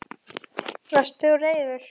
Varst þú reiður?